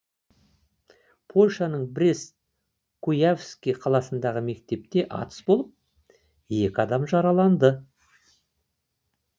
польшаның брест куявский қаласындағы мектепте атыс болып екі адам жараланды